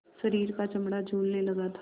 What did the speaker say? शरीर का चमड़ा झूलने लगा था